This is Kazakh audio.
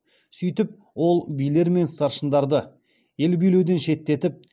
сөйтіп ол билер мен старшындарды ел билеуден шеттетіп